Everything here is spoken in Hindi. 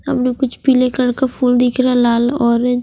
हमे कुछ पीले कलर के फुल दिख रहे है लाल और ओरे--